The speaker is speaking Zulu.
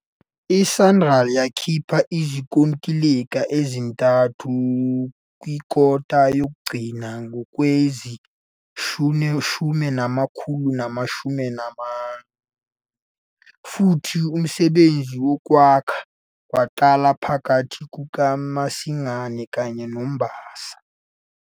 I-Sanral yakhipha izinkontileka ezintathu kwikota yokugcina ngowezi-2021, futhi umsebenzi wokwakha waqalwa phakathi kukaMasingana kanye noMbasa.